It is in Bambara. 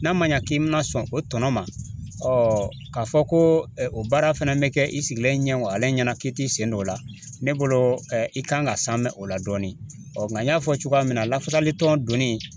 N'a ma ɲa k'i bɛna sɔn o tɔnɔ ma k'a fɔ ko o baara fɛnɛ bɛ kɛ i sigilen ɲɛ wagale ɲɛna k'i t'i sen don o la, ne bolo i kan ka sanmɛ o la dɔɔni, ɔ nka n y'a fɔ cogoya min na lafasali dɔnni.